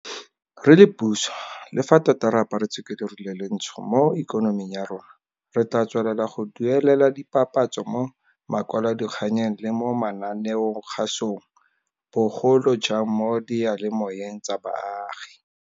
Re le puso, le fa tota re aparetswe ke leru le letsho mo ikonoming ya rona, re tla tswelela go duelela dipapatso mo makwalodikganyeng le mo mananeokgasong, bo golojang mo diyalemoweng tsa baagi.